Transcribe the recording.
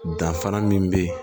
Danfara min bɛ yen